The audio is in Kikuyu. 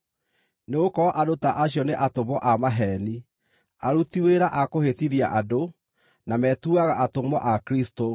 Nĩgũkorwo andũ ta acio nĩ atũmwo a maheeni, aruti wĩra a kũhĩtithia andũ, na metuaga atũmwo a Kristũ.